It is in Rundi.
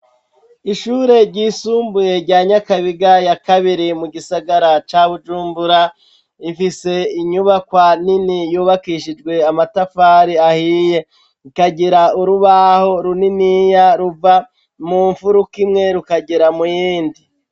Ishure ryisumbuye rya Nyakabiga ya kabiri mu gisagara ca Bujumbura. Ifise inyubakwa nini yubakishijwe amatafari ahiye, ikagira urubaho runiniya ruva mu mfuruka imwe rukagera mu yindi.